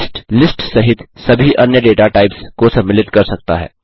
list list सहित सभी अन्य डेटा टाइप्स को सम्मिलित कर सकता है